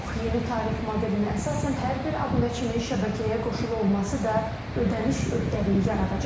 Yeni tarif modelinə əsasən hər bir abunəçinin şəbəkəyə qoşulu olması da ödəniş öhdəliyi yaradacaq.